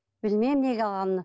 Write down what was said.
білмеймін неге алғанын